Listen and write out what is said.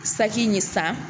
Saki ye san.